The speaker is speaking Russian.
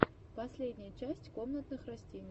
последняя часть комнатных растений